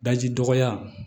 Daji dɔgɔya